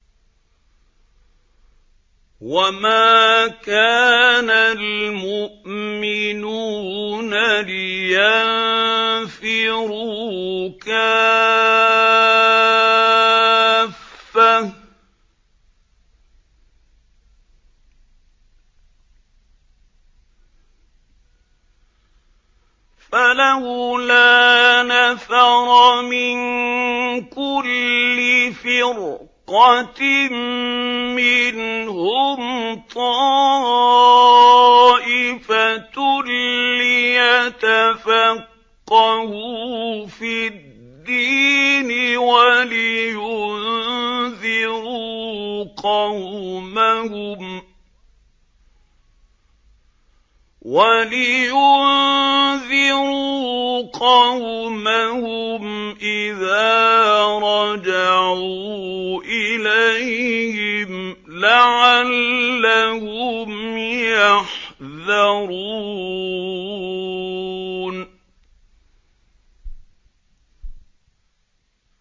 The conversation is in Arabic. ۞ وَمَا كَانَ الْمُؤْمِنُونَ لِيَنفِرُوا كَافَّةً ۚ فَلَوْلَا نَفَرَ مِن كُلِّ فِرْقَةٍ مِّنْهُمْ طَائِفَةٌ لِّيَتَفَقَّهُوا فِي الدِّينِ وَلِيُنذِرُوا قَوْمَهُمْ إِذَا رَجَعُوا إِلَيْهِمْ لَعَلَّهُمْ يَحْذَرُونَ